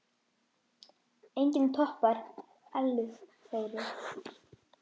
Enginn toppar Ellu Þóru.